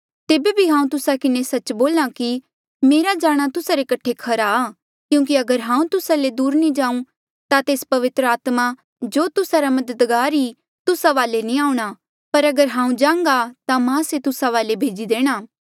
तेबे बी हांऊँ तुस्सा किन्हें सच्च बोल्हा कि मेरा जाणा तुस्सा रे कठे खरा आ क्यूंकि अगर हांऊँ तुस्सा ले दूर नी जाऊँ ता तेस पवित्र आत्मा जो तुस्सा रा मददगारा तुस्सा वाले नी आऊंणा पर अगर हांऊँ जांघ्हा ता मां से तुस्सा वाले भेजी देणा